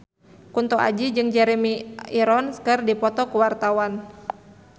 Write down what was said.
Kunto Aji jeung Jeremy Irons keur dipoto ku wartawan